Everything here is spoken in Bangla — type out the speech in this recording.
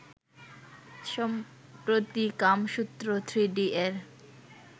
সম্প্রতি কামসূত্র থ্রিডি এর